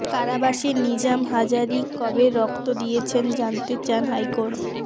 কারাবাসে নিজাম হাজারী কবে রক্ত দিয়েছেন জানতে চান হাইকোর্ট